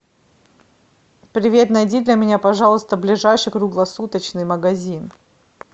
привет найди для меня пожалуйста ближайший круглосуточный магазин